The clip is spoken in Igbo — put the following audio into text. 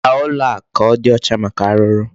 Zaa ụlọ a ka ọ dị ọcha maka arụrụ.